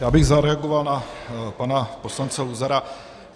Já bych zareagoval na pana poslance Luzara.